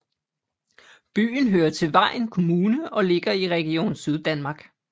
Byen hører til Vejen Kommune og ligger i Region Syddanmark